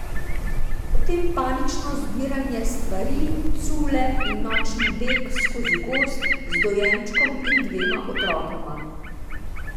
Potem panično zbiranje stvari, cule in nočni beg skozi gozd, z dojenčkom in dvema otrokoma.